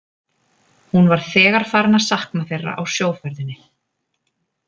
Hún var þegar farin að sakna þeirra á sjóferðinni.